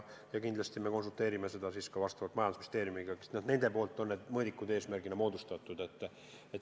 Kindlasti me konsulteerime ka majandusministeeriumiga, sest nende poolt on need mõõdikud eesmärgina kirja pandud.